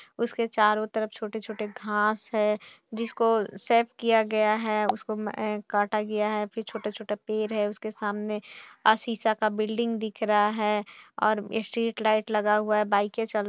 उसके चारो तरफ छोटे छोटे घास है जिसको शेप किया गया है उसको काटा गया है फिर छोटा छोटा पेड़ है उसके सामने सीसा का बिल्डिंग दिख रहा है और स्ट्रीट लाइट लगा हुआ है बाइके चल--